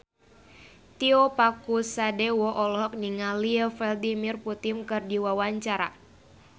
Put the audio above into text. Tio Pakusadewo olohok ningali Vladimir Putin keur diwawancara